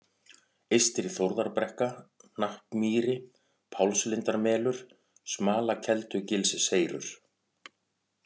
Eystri-Þórðarbrekka, Hnappmýri, Pálslindarmelur, Smalakeldugilsseyrur